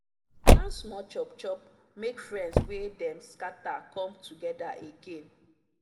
e plan small chop chop make friends wey dem scatter come together again.